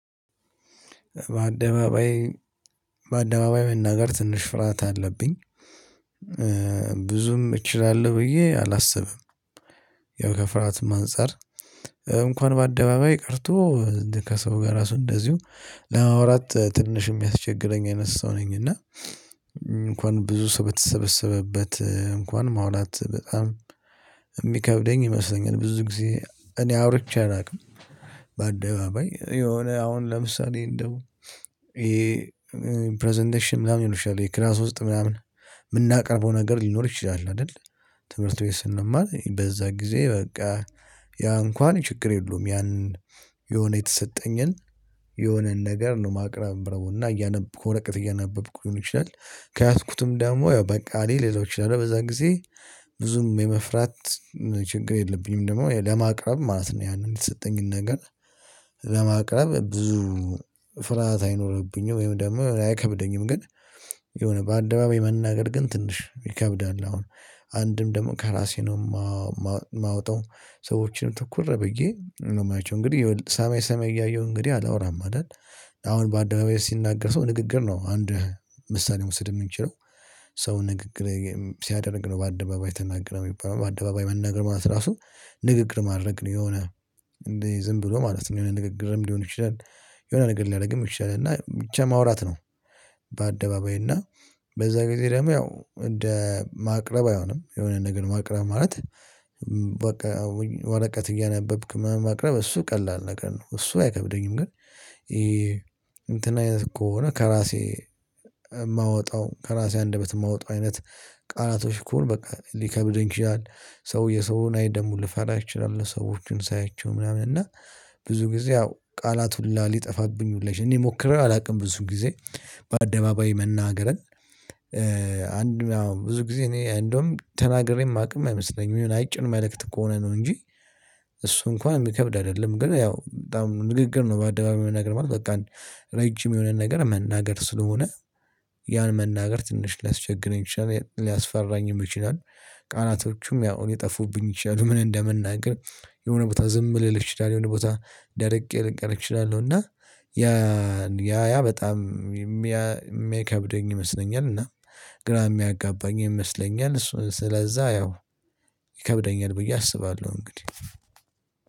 በአደባባይ መናገር ትንሽ ፍርሃት አለብኝ። ብዙም እችላለሁ ብዬ አላስብም። ያው ከፍርሃትም አንፃር እንኳን በአደባባይ ቀርቶ ከሰው ጋር ራሱ እንደዚሁ ለማውራት ትንሽ ሚያስቸግለኝ አይነት ሰው ነኝ እና እንኳን ብዙ ሰው በተሰበሰበበት እንኳን ማውራት በጣም ሚከብደኝ ይመስለኛል። ብዙ ጊዜ እኔ አውርቼ አላቅም። በአደባባይ የሆነ አሁን ለምሳሌ እንደው ይሄ ፕረዘንቴሽን ምናምን ይሉሻል ክላስ ውስጥ ምናምን የምናቀርበው ነገር ሊኖር ይችላል አይደል ትምህርት ቤት ስንማር በዛ ጊዜ በቃ ያ እንኳን ችግር የለውም ያን የሆነ የተሰጠኝን የሆነን ነገር ነው ማቅረብ ነው እና እያነበብኩ ወረቀት እያነበብኩ ሊሆን ይችላል ከያዝኩትም ደግሞ ያው በቃ ልይዘው እችላለሁ በዛ ጊዜ ብዙም የመፍራት ችግር የለብኝም ደግሞ ለማቅረብ ማለት ነው ያንን የተሰጠኝን ነገር ለማቅረብ ብዙ ፍርሃት አይኖርብኝም ወይም ደግሞ አይከብደኝም ግን የሆነ በአደባባይ መናገር ግን ትንሽ ይከብዳል አሁን አንድም ደግሞ ከራሴ ነው ማወጣው ሰዎችንም ተኩረህ ብዬ ነው ማያቸው እንግዲህ ሰማይ ሰማይ እያየሁ እንግዲህ አላወራም አይደል አሁን በአደባባይ ሲናገር ሰው ንግግር ነው አንድ ምሳሌ መውሰድ ምንችለው ሰው ንግግር ሲያደርግ ነው በአደባባይ ተናገረ። ሚባለው በአደባባይ መናገር ማለት ራሱ ንግግር ማድረግ ነው። የሆነ እንደዚ ዝም ብሎ ማለት ነው የሆነ ንግግርም ሊሆን ይችላል የሆነ ንግግር ሊያደርግም ይችላል እና ብቻ ማውራት ነው። በአደባባይ እና በዛ ጊዜ ደግሞ ያው እንደ ማቅረብ አይሆንም የሆነ ነገር ማቅረብ ማለት ወረቀት እያነበብክ ማቅረብ እሱ ቀላል ነገር ነው። እሱ አይከብደኝም ግን እንትን አይነት ከሆነ ከራሴ ማወጣው ከራሴ አንደበት ማወጣው አይነት ቃላቶች ከሆኑ በቃ ሊከብደኝ ይችላል። ሰው የሰውን አይን ደሞ ልፈራ እችላለው። ሰዎችን ሳያቸው ምናምን እና ብዙ ጊዜ ያው ቃላት ሁላ ሊጠፋብኝ ሁላ ይችላል። እኔ ሞክሬ አላውቅም ብዙ ጊዜ በአደባባይ መናገርን አንድ ብዙ ጊዜ እኔ እንደውም ተናግሬ ማቅም አይመስለኝም። የሆነ አጭር መልእክት ከሆነ ነው እንጂ እሱ እንኳን ሚከብድ አይደለም ግን ያው በጣም ንግግር ነው በአደባባይ መናገር ማለት ነው በቃ ረጅም የሆነ ነገር መናገር ስለሆነ ያን መናገር ትንሽ ሊያስቸግረኝ ይችላል፣ ሊያስፈራኝ ይችላል፣ ቃላቶቹም ያው ሊጠፉብኝ ይችላሉ ምን እንደምንናገር የሆነ ቦታ ዝም ልል እችላለው የሆነ ቦታ ደርቄ ልቀር እችላለሁ እና ያ ያ ያ በጣም የሚከብደኝ ይመስለኛል እና ግራ ሚያጋባኝ ይመስለኛል። ስለዛ ያው ይከብደኛል ብዬ አስባለሁ እንግዲህ።